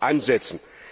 ansetzen.